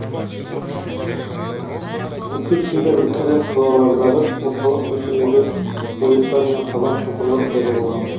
тіпті кейбір ірі қалалардағы орталық көшелерде ойықтар мен қазан шұңқырлар пайда болған